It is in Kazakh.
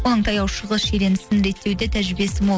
оның таяу шығыс шиеленісін реттеуде тәжірибесі мол